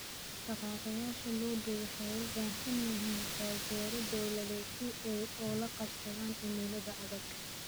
Dhaqaaqayaasha lo'du waxay u baahan yihiin taageero dawladeed si ay ula qabsadaan cimilada adag.